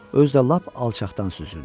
Özü də lap alçaqdan süzürdü.